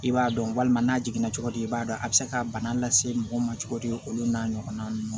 I b'a dɔn walima n'a jiginna cogo di i b'a dɔn a bɛ se ka bana lase mɔgɔ ma cogo di olu n'a ɲɔgɔnna ninnu